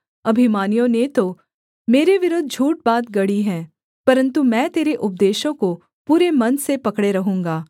अभिमानियों ने तो मेरे विरुद्ध झूठ बात गढ़ी है परन्तु मैं तेरे उपदेशों को पूरे मन से पकड़े रहूँगा